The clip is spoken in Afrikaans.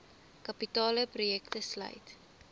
kapitale projekte sluit